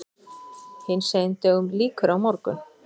Hinsegin dögum lýkur á morgun.